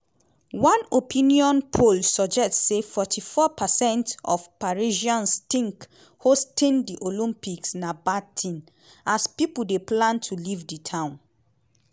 one opinion poll suggest say forty four percent of parisians tink hosting di olympics na "bad tin" as pipo dey plan to leave di town.